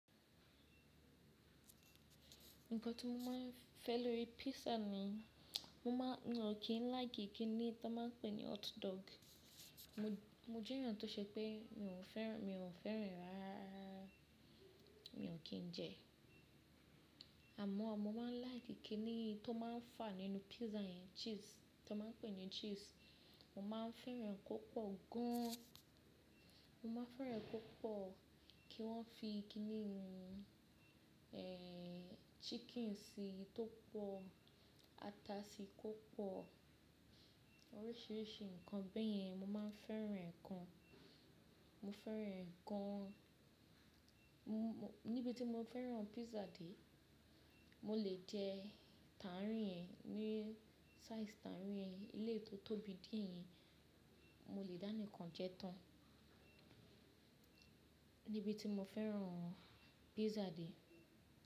Nǹkan tí mo máa ń fẹ́ lórí pizza mi, mo máa, mi o kí n like kíní ta máa ń pè ní hot dog. Mo, mo jẹ́ èèyàn tó ṣe pé mi ò fẹ́ràn, mi ò fẹ́ràn e rárárárá. Mi ò kí n jẹ. Àmọ́ mo máa ń like kíní tó máa ń fà nínú pizza yẹn, cheese tí wọ́n máa ń pè ní cheese. Mo máa ń fẹ́ràn kó pọ̀ gán-án. Mo máa ń fẹ́ràn kó pọ̀, kí wọ́n fi i kíní inu, chicken sí tó pọ̀, ata sí kó pọ̀. Oríṣìíríṣìí nǹkan, bẹ́yẹn mo máa ń fẹ́ràn gan Mo fẹ́ràn ǹkan. Níbi tí mo fẹ́ràn pizza dé, mo lè jẹ́ tàárìn yẹn, ní size tàárìn yẹn, eleyi tó tóbi díẹ̀ yẹn, mo lè dáni kan jẹ́ tán. Níbi tí mo fẹ́ràn pizza dé.